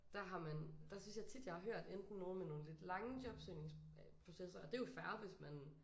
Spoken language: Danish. Der har man der synes jeg tit jeg har hørt enten nogen med nogen lidt lange jobsøgningsprocesser og det er jo fair hvis man